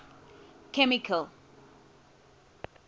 chemical